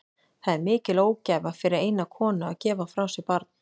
Það er mikil ógæfa fyrir eina konu að gefa frá sér barn.